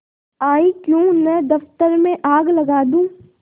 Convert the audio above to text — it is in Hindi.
आयीक्यों न दफ्तर में आग लगा दूँ